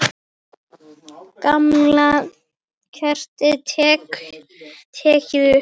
Gamla kerfið tekið upp?